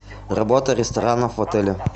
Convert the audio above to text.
работа ресторанов в отеле